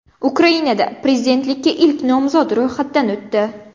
Ukrainada prezidentlikka ilk nomzod ro‘yxatdan o‘tdi.